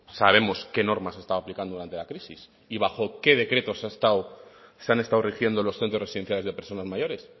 sabemos qué norma se estaba aplicando durante la crisis y bajo qué decretos se han estado rigiendo los centros residenciales de personas mayores